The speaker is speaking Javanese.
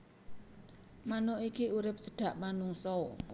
Manuk iki urip cedhak manungsa